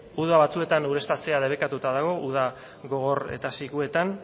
uda batzuetan ureztatzea debekatuta dago uda gogor eta sikuetan